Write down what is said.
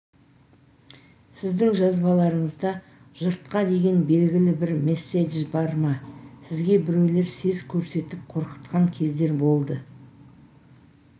сіздің жазбаларыңызда жұртқа деген белгілі бір месседж бар ма сізге біреулер сес көрсетіп қорқытқан кездер болды